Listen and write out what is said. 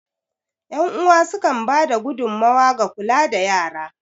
Yan uwa sukan ba da gudummawa ga kula da yara.